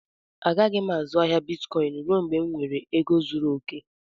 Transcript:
A gaghị azụ ahịa bịtkọin rue mgbe m nwèrè égo zụrụ okè